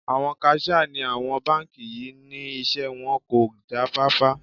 Àwọn kaṣíà ní àwọn báńkì yí ni iṣẹ́ wọn kò já fáfá.